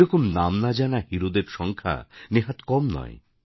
এই রকম নাম না জানা হিরো দের সংখ্যা নেহাৎ কম নয়